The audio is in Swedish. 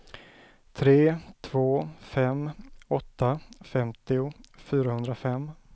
tre två fem åtta femtio fyrahundrafem